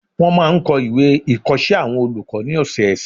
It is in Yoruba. Wọ́n máa n kọ ìwé ìkọsẹ́ àwọn olùkọ́ ní ọ̀sọ̀ọ̀sẹ̀